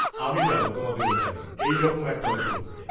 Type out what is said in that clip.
আমি যাব তোমাদের ওখানে এই রকম একটা উপলক্ষে।